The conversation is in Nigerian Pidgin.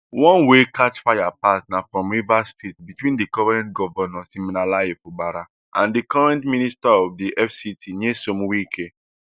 one wey catch fire pass na fr rivers state between di current govnor siminalayi fubara and di current minister of di fct nyesome wike